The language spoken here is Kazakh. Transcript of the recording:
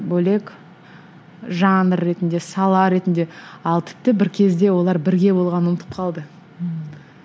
бөлек жанр ретінде сала ретінде ал тіпті бір кезде олар бірге болғанын ұмытып қалды ммм